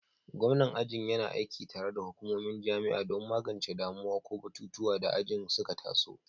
Gwamnan aji yana aiki tare da hukumomin jami'a don magance damuwa ko batutuwan da ajin suka taso.